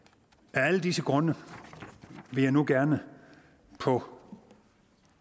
af alle disse grunde vil jeg nu gerne på